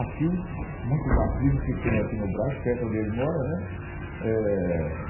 Aqui, muito batismo que tem aqui no Brás, perto onde ele mora, né?